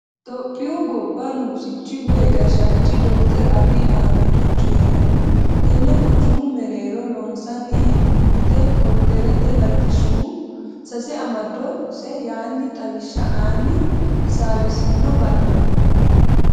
Tophiyu gobba nugusichi woyi gashshaanchi dottorchu Abiyi Ahimedihu coyranni tene quchumu mereero loonsanni hee'nonite korderete latishshihu sase amadose yaani xawishsha aani hasaawisino bare .